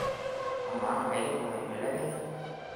amaa ekiindim aibelekenya